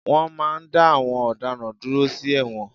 Wọ́n máa n dá àwọn ọ̀daràn dúró sí ẹ̀wọ̀n